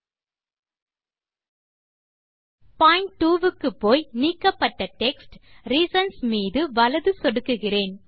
point 2 க்குப்போய் நீக்கப்பட்ட text reasons மீது வலது சொடுக்குகிறேன்